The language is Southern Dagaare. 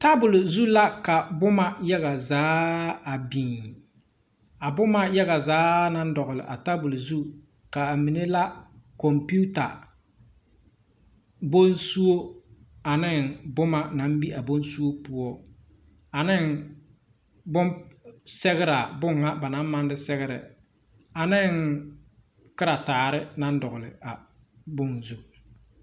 Tabol zu la ka boma yaga zaa a biŋ a boma yaga zaa naŋ dɔgle a tabol zu kaa mine la computer, bonsuo ane boma naŋ be a bonsuo poɔ ane bonsɛgraa bon na ba naŋ maŋ de sɛgrɛ aneŋ karetaare naŋ dɔgle a bon zu.